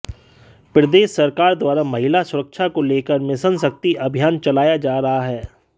प्रदेश सरकार द्वारा महिला सुरक्षा को लेकर मिशन शक्ति अभियान चलाया जा रहा है